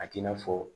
A t'i n'a fɔ